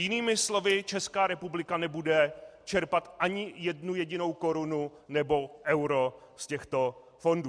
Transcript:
Jinými slovy, Česká republika nebude čerpat ani jednu jedinou korunu nebo euro z těchto fondů.